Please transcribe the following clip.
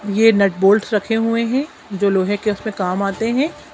ये nut bolts रखे हुए हैं जो लोहे के उसमें काम आते हैं।